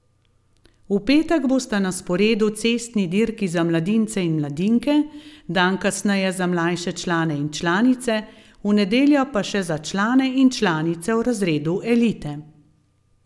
V petek bosta na sporedu cestni dirki za mladince in mladinke, dan kasneje za mlajše člane in članice, v nedeljo pa še za člane in članice v razredu elite.